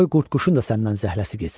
Qoy qurdquşun da səndən zəhləsi getsin.